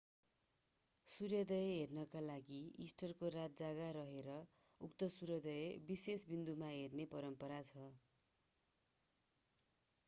सूर्योदय हेर्नका लागि इस्टरको रात जागा रहेर उक्त सुर्योदय विशेष बिन्दुमा हेर्ने परम्परा छ